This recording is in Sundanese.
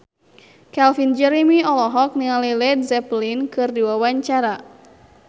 Calvin Jeremy olohok ningali Led Zeppelin keur diwawancara